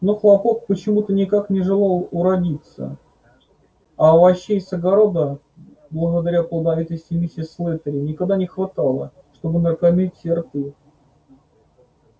но хлопок почему-то никак не желал уродиться а овощей с огорода благодаря плодовитости миссис слэттери никогда не хватало чтобы накормить все рты